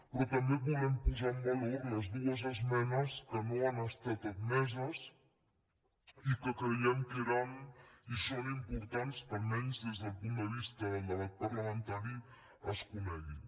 però també volem posar en valor les dues esmenes que no han estat admeses i que creiem que eren i són importants que almenys des del punt de vista del debat parlamentari es coneguin